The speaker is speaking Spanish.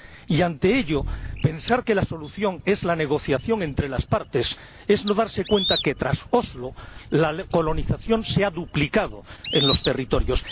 Y ante ello, pensar que la solución es la negociación entre las partes es no darse cuenta de que, tras Oslo, la colonización se ha duplicado en los territorios.